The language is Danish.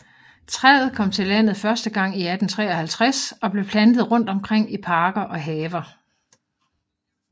Træet kom til landet første gang i 1853 og blev plantet rundt omkring i parker og haver